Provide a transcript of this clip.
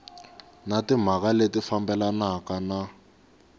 na timhaka leti fambelanaka na